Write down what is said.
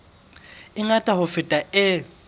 e ngata ho feta e